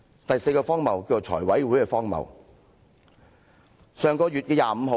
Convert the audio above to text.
第四個荒謬，叫財務委員會的荒謬。